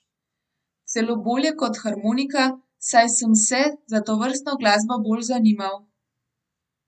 Celo bolje kot harmonika, saj sem se za tovrstno glasbo bolj zanimal.